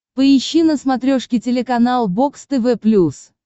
поищи на смотрешке телеканал бокс тв плюс